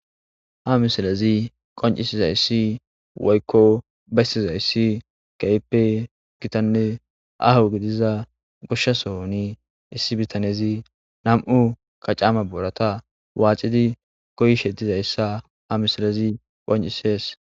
Ha misilezi besizsysi woyko qoncisizaysi kehipe gitanne aho gidizaysa gosha sohoni issi bitanezi kacera wolqama noorata waxidi goyishe dizaysa haisiley qoncises